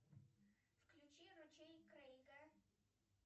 включи ручей крейга